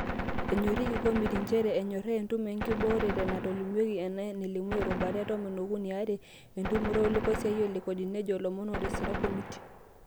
"Enyoriki Komitii njere enyoraa entumo inkibooreta naatolimuoki enaa enelimu erubata e tomon okuni (are) entumoto olekosiayio le Kodi," nejo ilomon otisira komitii.